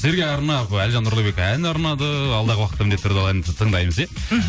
сіздерге арнап ы әлжан нұрлыбек ән арнады алдағы уақытта міндетті түрде ол әнді тыңдаймыз иә мхм